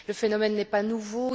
Le phénomène n'est pas nouveau.